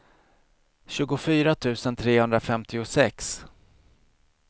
tjugofyra tusen trehundrafemtiosex